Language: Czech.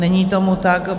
Není tomu tak.